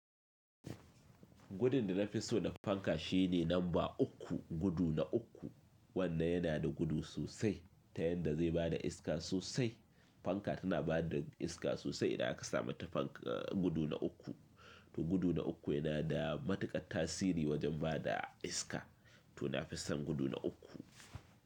Gudun da na fi so na fanka shine lamba uku, gudu na uku. Wannan yana da gudu sosai ta yanda zai ba da iska sosai. Fanka tana ba da iska sosai idan ka samata gudu na uku. To gudu na uku yana da matukar tasiri wajen ba da iska. To na fi son gudu na uku.